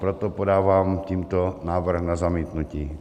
Proto podávám tímto návrh na zamítnutí.